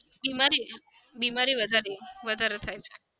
બીમારીઓ બીમારીઓ વધારે વધારે થાય છે.